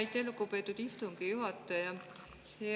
Aitäh, lugupeetud istungi juhataja!